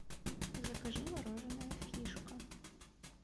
закажи мороженое фишка